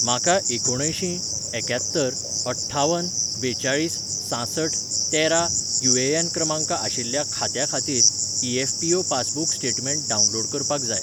म्हाका एकुणअंयशीं एक्यात्तर अठ्ठावन बेचाळीस सांसठ तेरा यू.ए.एन. क्रमांक आशिल्ल्या खात्या खातीर ई.एफ.पी.ओ.पासबुक स्टेटमेंट डावनलोड करपाक जाय.